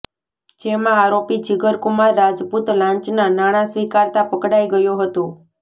જેમાં આરોપી જીગરકુમાર રાજપુત લાંચના નાણા સ્વીકારતા પકડાઈ ગયો હતો